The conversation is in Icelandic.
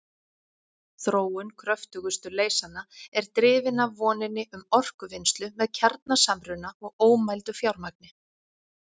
Þróun kröftugustu leysanna er drifin af voninni um orkuvinnslu með kjarnasamruna og ómældu fjármagni.